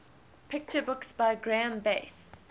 picture books by graeme base